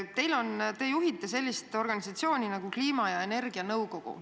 Te juhite sellist organisatsiooni nagu kliima- ja energianõukogu.